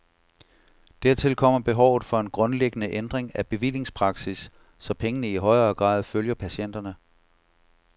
Dertil kommer behovet for en grundlæggende ændring af bevillingspraksis, så pengene i højere grad følger patienterne.